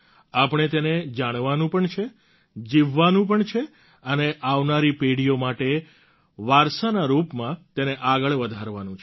આપણે તેને જાણવાનું પણ છે જીવવાનું પણ છે અને આવનારી પેઢીઓ માટે વારસાના રૂપમાં તેને આગળ વધારવાનું છે